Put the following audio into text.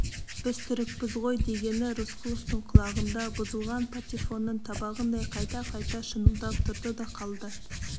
біз түрікпіз ғой дегені рысқұловтың құлағында бұзылған патефонның табағындай қайта-қайта шыңылдап тұрды да қалды